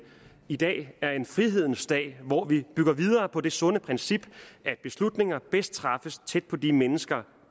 i dag er en frihedens dag hvor vi bygger videre på det sunde princip at beslutninger bedst træffes tæt på de mennesker